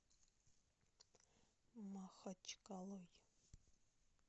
махачкалой